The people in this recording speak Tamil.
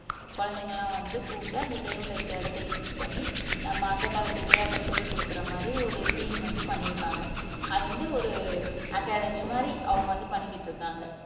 குழந்தைங்க எல்லாம் வந்து கூப்பிட்டு அந்த தெருவுல இருக்கிற இடத்தை யூஸ் பண்ணி நம்ப அந்த காலத்து விளையாட்டை சொல்லிக் கொடுக்கிற மாதிரி ஒரு டீம் வந்து பண்ணியிருக்காங்க அது வந்து ஒரு அகாடமி மாதிரி அவங்க வந்து பண்ணிக்கிட்டு இருக்காங்க